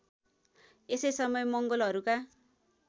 यसै समय मंगोलहरूका